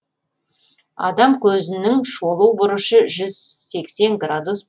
адам көзінің шолу бұрышы жүз сексен градус